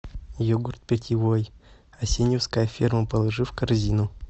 йогурт питьевой асеньевская ферма положи в корзину